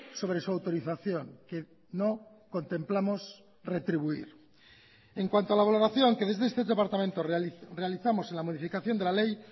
sobre su autorización que no contemplamos retribuir en cuanto a la valoración que desde este departamento realizamos en la modificación de la ley